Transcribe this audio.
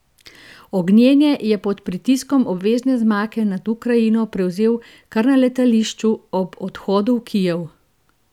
Ognjene je pod pritiskom obvezne zmage nad Ukrajino prevzel kar na letališču ob odhodu v Kijev!